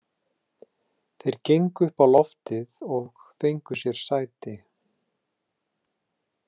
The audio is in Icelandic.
Þeir gengu upp á loftið og fengu sér sæti.